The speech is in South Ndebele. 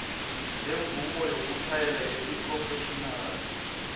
semvumo yokutjhayela yesiphrofetjhinali